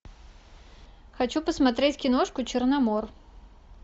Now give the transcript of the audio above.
хочу посмотреть киношку черномор